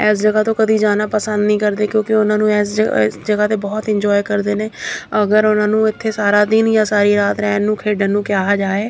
ਇਸ ਜਗ੍ਹਾ ਤੋਂ ਕਦੀ ਜਾਣਾ ਪਸੰਦ ਨਹੀਂ ਕਰਦੇ ਕਿਉਂਕਿ ਉਹਨਾਂ ਨੂੰ ਇਸ ਇਸ ਜਗ੍ਹਾ ਤੇ ਬਹੁਤ ਐਂਜੋਏ ਕਰਦੇ ਨੇ ਅਗਰ ਉਹਨਾਂ ਨੂੰ ਇੱਥੇ ਸਾਰਾ ਦਿਨ ਜਾਂ ਸਾਰੀ ਰਾਤ ਰਹਿਣ ਨੂੰ ਖੇਡਾਂ ਨੂੰ ਕਿਹਾ ਜਾਏ --